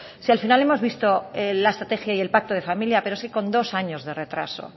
si al final hemos visto la estrategia y el pacto de familia pero es que con dos años de retraso